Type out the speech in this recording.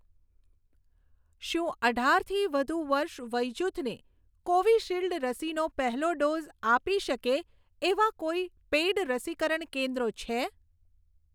શું અઢારથી વધુ વર્ષ વયજૂથને કોવિશીલ્ડ રસીનો પહેલો ડોઝ આપી શકે એવાં કોઈ પેઈડ રસીકરણ કેન્દ્રો છે?